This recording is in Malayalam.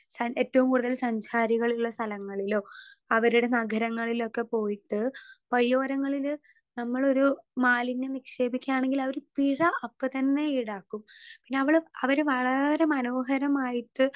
സ്പീക്കർ 2 സ ഏറ്റോം കൂടുതല് സഞ്ചാരികളുള്ള സ്ഥലങ്ങളിലൊ അവരുടെ നഗരങ്ങളിലൊക്കെ പോയിട്ട് വഴിയോരങ്ങളില് നമ്മളൊരു മാലിന്യം നിക്ഷേപിക്കാണെങ്കിലവര് പിഴ അപ്പത്തന്നെ ഈടാക്കും പിന്നെ അവള് അവര് വളരെ മനോഹരമായിട്ട്.